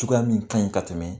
Cogoya min ka ɲi ka tɛmɛ